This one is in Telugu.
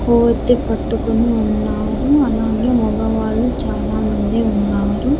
కొవ్వొత్తి పట్టుకొని ఉన్నారు అలాగే మొగవాళ్ళు చాలామంది ఉన్నారు.